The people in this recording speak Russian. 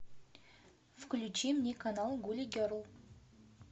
включи мне канал гули герл